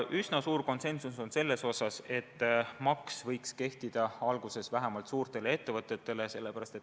Üsna suur konsensus on selles, et maks võiks alguses kehtida suurtele ettevõtetele.